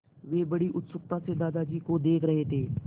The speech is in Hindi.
वे बड़ी उत्सुकता से दादाजी को देख रहे थे